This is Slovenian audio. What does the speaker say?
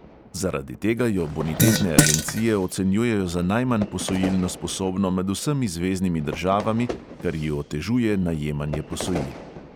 Zaradi tega jo bonitetne agencije ocenjujejo za najmanj posojilno sposobno med vsemi zveznimi državami, kar ji otežuje najemanje posojil.